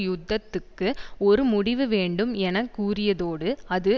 யுத்தத்துக்கு ஒரு முடிவு வேண்டும் என கூறியதோடு அது